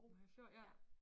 Mariager Fjord ja